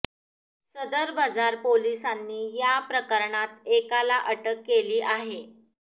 सदर बझार पोलिसांनी या प्रकरणात एकाला अटक केली आहे